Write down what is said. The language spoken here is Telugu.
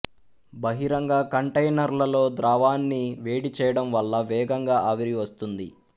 బహిరంగ కంటైనర్లలో ద్రవాన్ని వేడి చేయడం వల్ల వేగంగా ఆవిరి వస్తుంది